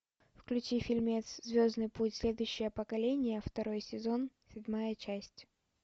включи фильмец звездный путь следующее поколение второй сезон седьмая часть